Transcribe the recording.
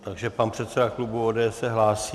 Takže pan předseda klubu ODS se hlásí.